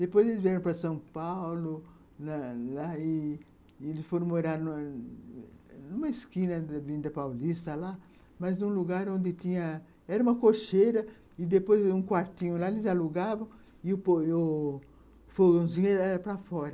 Depois eles vieram para São Paulo, lá, lá e e eles foram morar numa esquina da avenida paulista lá, mas num lugar onde tinha, era uma cocheira, e depois um quartinho lá eles alugavam, e o fogãozinho era para fora.